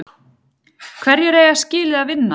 Hverjir eiga skilið að vinna?